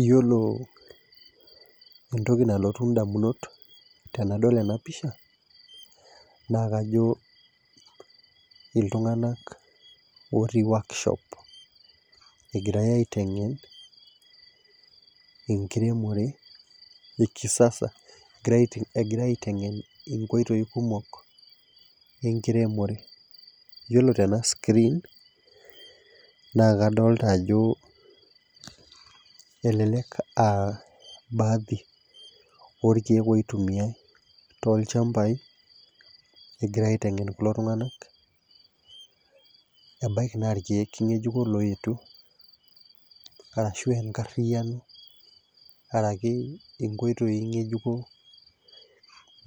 iyiolo entoki nalotu damunot tenadol ena pisha naa kajo, iltunganak otii workshop egirae aitengen',enkiremore ekisasa, egirae aitengen nkoitoi kumok enkiremore. ore tena screen naa kadoolta ajo elelk aa baadhi olkeek oitumiae, tolchampai, egirae aitengen kulo tunganak, ebaiki naa irkeek ngejuko looyetuo, ashu enkariyiano. araki nkoitoi ngejuko,